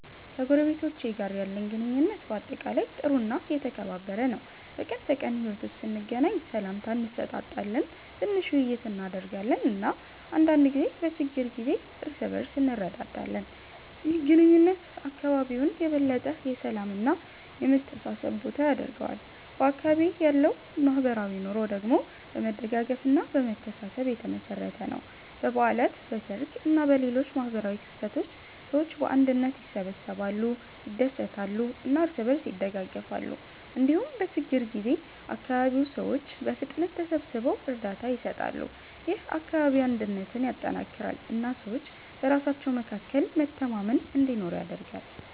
ከጎረቤቶቼ ጋር ያለኝ ግንኙነት በአጠቃላይ ጥሩ እና የተከባበረ ነው። በቀን ተቀን ሕይወት ውስጥ ስንገናኝ ሰላምታ እንሰጣጣለን፣ ትንሽ ውይይት እናደርጋለን እና አንዳንድ ጊዜ በችግር ጊዜ እርስ በእርስ እንረዳዳለን። ይህ ግንኙነት አካባቢውን የበለጠ የሰላም እና የመተሳሰብ ቦታ ያደርገዋል። በአካባቢዬ ያለው ማህበራዊ ኑሮ ደግሞ በመደጋገፍ እና በመተሳሰብ የተመሠረተ ነው። በበዓላት፣ በሰርግ እና በሌሎች ማህበራዊ ክስተቶች ሰዎች በአንድነት ይሰበሰባሉ፣ ይደሰታሉ እና እርስ በእርስ ይደጋገፋሉ። እንዲሁም በችግኝ ጊዜ አካባቢው ሰዎች በፍጥነት ተሰብስበው እርዳታ ይሰጣሉ። ይህ አካባቢያዊ አንድነትን ያጠናክራል እና ሰዎች በራሳቸው መካከል መተማመን እንዲኖር ያደርጋል።